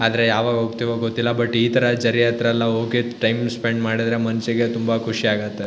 ಯಾವಾಗ್ ಹೋಗತ್ತೀವೋ ಗೊತ್ತಿಲ್ಲಾ ಬಟ್ ಇತರ ಜರಿ ಹತ್ರ ಎಲ್ಲಾ ಹೋಗಿ ಟೈಮ್ ಸ್ಪೆಂಡ್ ಮಾಡಿದ್ರೆ ಮನ್ಸಿಗೆ ತುಂಬಾ ಖುಷಿ ಆಗುತ್ತೆ.